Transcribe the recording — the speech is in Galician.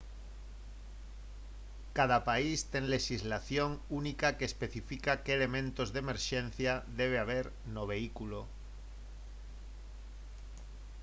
cada país ten lexislación única que especifica que elementos de emerxencia debe haber no vehículo